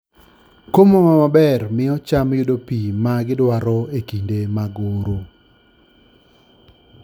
Komo maber miyo cham yudo pi ma gidwaro e kinde mag oro.